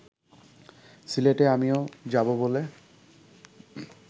সিলেটে আমিও যাব বলে